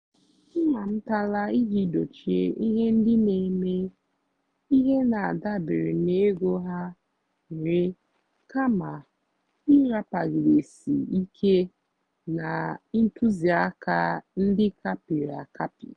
m amụ́tálá ìjì dòchíé íhé ndí nà-èmè íhé nà-àdàbérè n'égó há nwèrè kàmà ị́ràpagìdésì íké nà ntụ́zìákà ndí á kàpị́rị́ àkàpị́.